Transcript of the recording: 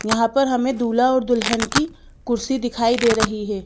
यहां पर हमें दूल्हा और दुल्हन की कुर्सी दिखाई दे रही है।